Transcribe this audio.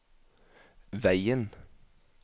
veien